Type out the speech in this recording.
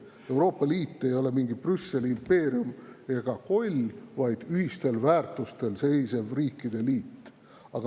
Euroopa Liit ei ole mingi Brüsseli impeerium ega koll, vaid ühistel väärtustel seisev riikide liit.